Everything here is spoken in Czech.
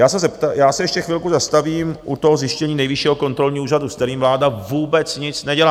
Já se ještě chvilku zastavím u toho zjištění Nejvyššího kontrolního úřadu, s kterým vláda vůbec nic nedělá.